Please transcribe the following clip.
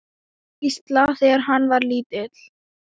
Gísla, þegar hann var lítill.